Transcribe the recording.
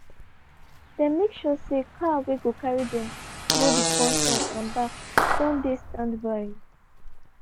dem make sure say car whey go carry dem go d concert and back don dey standby.